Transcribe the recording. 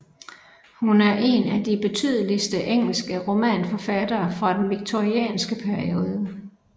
Hun er en af de betydeligste engelske romanforfattere fra den victorianske periode